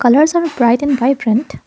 colours are bright and vibrant.